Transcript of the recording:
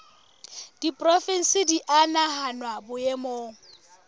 diporofensi di a nahanwa boemong